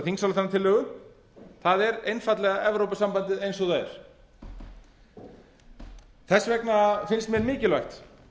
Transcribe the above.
þingsályktunartillögu það er einfaldlega evrópusambandið eins og það er þess vegna finnst mér mikilvægt